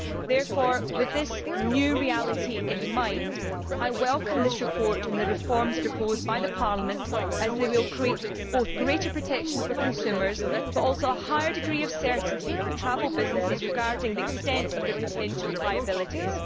Therefore, with this new reality in mind, I welcome this report and the reforms proposed by Parliament, as they will ensure not only greater protection for consumers but also a higher degree of certainty for travel businesses regarding the extent of their potential liabilities.